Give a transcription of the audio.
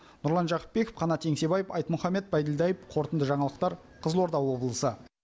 нұрлан жақыпбеков қанат еңсебаев айтмұхаммед байділдаев қорытынды жаңалықтар қызылорда облысы